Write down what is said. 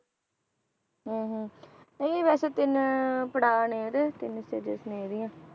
ਹਮ ਹਮ ਨਹੀਂ ਵੈਸੇ ਤਿੰਨ ਪੜ੍ਹਾਅ ਨੇ ਇਹਦੇ, ਤਿੰਨ stages ਨੇ ਇਹਦੀਆਂ।